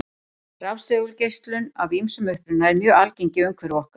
Rafsegulgeislun af ýmsum uppruna er mjög algeng í umhverfi okkar.